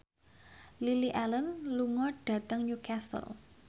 Lily Allen lunga dhateng Newcastle